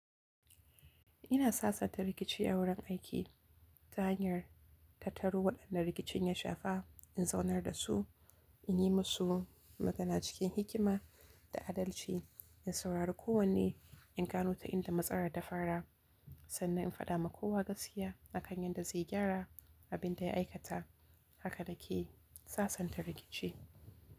Ina sasanta rikici a wurin aiki ta hanyar tattaru waɗanda rikicin ya shafa, in zaunar da su, in yi musu magana cikin hikima da adalci, in saurari kowanne in gano ta inda matsalar ta fara, sannan in faɗa ma kowa gaskiya akan yadda zai gyara abin da ya aikata. Haka na ke sasanta rikici.